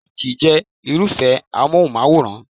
LG jẹ́ Irúfẹ́ amóhùnmáwòrán